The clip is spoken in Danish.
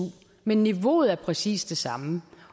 men niveauet er præcis det samme